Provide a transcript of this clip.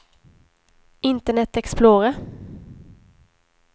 internet explorer